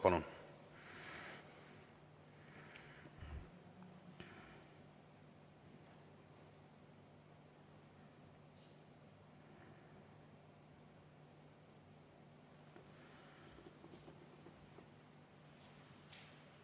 Palun!